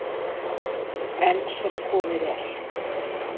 Enn sem komið er.